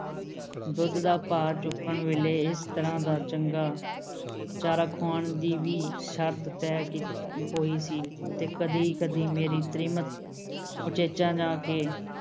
ਦੁੱਧ ਦਾ ਭਾਅ ਚੁਕਾਣ ਵੇਲ਼ੇ ਇਸ ਤਰ੍ਹਾਂ ਦਾ ਚੰਗਾ ਚਾਰਾ ਖੁਆਣ ਦੀ ਵੀ ਸ਼ਰਤ ਤੈਅ ਕੀਤ ਹੋਈ ਸੀ ਤੇ ਕਦੀ-ਕਦੀ ਮੇਰੀ ਤ੍ਰੀਮਤ ਉਚੇਚਾ ਜਾ ਕੇ